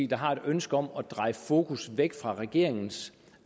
der har et ønske om at dreje fokus væk fra regeringens